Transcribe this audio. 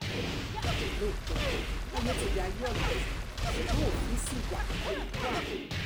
lóòótọ́ ayé ti di ayé ọ̀làjú ṣùgbọ́n òfin ṣì wà wà